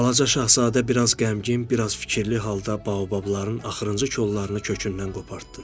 Balaca Şahzadə biraz qəmgin, biraz fikirli halda baobabların axırıncı kollarını kökündən qopardı.